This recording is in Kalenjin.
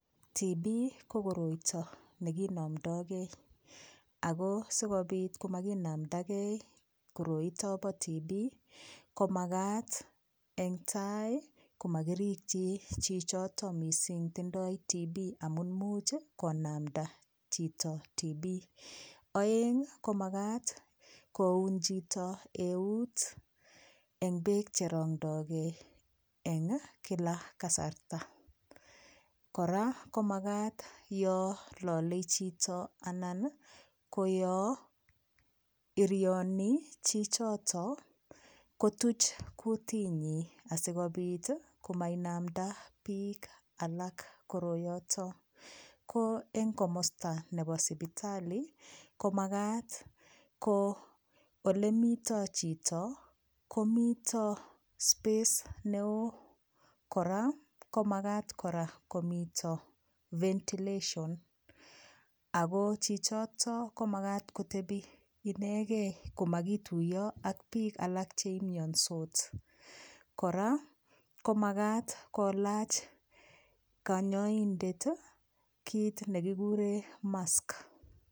Tuberculosis ko koroito ne kinomdokei, ako si kobit ko makinamdakei koroito bo tuberculosis ko makat eng tai komakirikyi chichoto mising tindoi tuberculosis amun much konamda chito tuberclosis, aeng ii ko makat koun chito eut eng beek che rongdokei eng kila kasarta, kora ko makat yo lole chito anan ii ko yo irioni chichoto kotuch kutinyi asikobit ii komainamda piik alak koroyoto, ko eng komosta nebo sipitali, komakat ko ole mito chito, komito space ne oo, kora komakat kora komito ventilation, ako chichoto komakat kotebi inegei komakituiyo ak piik alak che imiansot, kora komakat kolach kanyaindet ii kiit ne kikure mask.